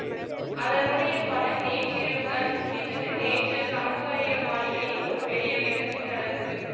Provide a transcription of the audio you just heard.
அதனுடைய பலன் நேற்றிரவுதான் சித்தித்தது நேற்று சம்புவரையர் மாளிகையில் ஒரு பெரிய விருந்து நடந்தது